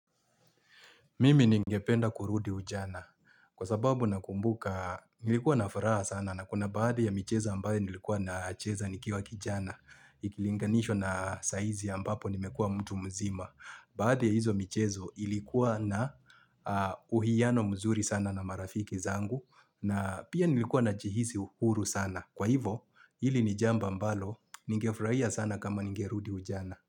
Mimi ningependa kurudi ujana kwa sababu na kumbuka nilikuwa na furaha sana na kuna baadhi ya michezo ambaye nilikuwa na cheza nikiwa kijana. Ikilinganishwa na sahizi ambapo nimekua mtu mzima. Baadhi ya hizo michezo ilikuwa na uhiyano mzuri sana na marafiki zangu na pia nilikuwa na jihizi huru sana. Kwa hivo hili nijamba mbalo ningefurahia sana kama ningerudi ujana.